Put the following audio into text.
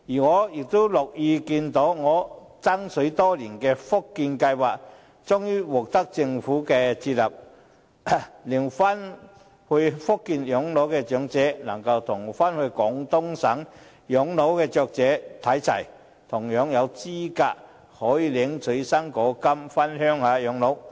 我亦樂意看到我爭取多年的"福建計劃"終於獲得政府接納，令返回福建養老的長者能與返回廣東省養老的長者看齊，同樣有資格可以領取"生果金"回鄉養老。